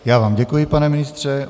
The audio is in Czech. Já vám děkuji, pane ministře.